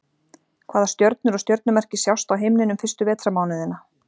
Hvaða stjörnur og stjörnumerki sjást á himninum fyrstu vetrarmánuðina?